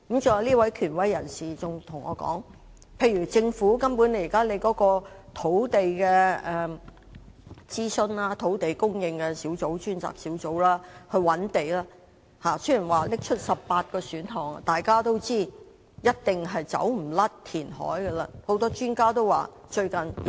再者，這位權威人士還告訴我，有關政府現時就土地進行的諮詢工作，土地供應專責小組雖然提出了18個選項，但大家也知道填海一定免不了。